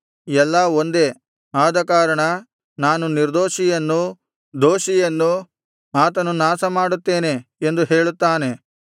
ಎಲ್ಲಾ ಒಂದೇ ಆದಕಾರಣ ನಾನು ನಿರ್ದೋಷಿಯನ್ನೂ ದೋಷಿಯನ್ನೂ ಆತನು ನಾಶ ಮಾಡುತ್ತೇನೆ ಎಂದು ಹೇಳುತ್ತಾನೆ